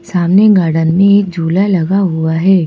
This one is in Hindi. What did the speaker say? सामने गार्डन में एक झूला लगा हुआ है।